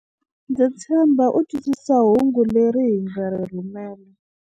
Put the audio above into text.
Ndza tshemba u twisisa hungu leri hi nga ri rhumela.